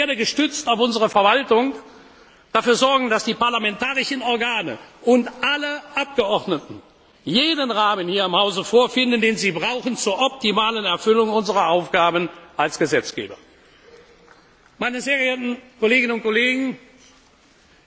bringen. Ich werde, gestützt auf unsere Verwaltung, dafür sorgen, dass die parlamentarischen Organe und alle Abgeordneten jenen Rahmen hier im Hause vorfinden, den sie zur optimalen Erfüllung unserer Aufgaben als Gesetzgeber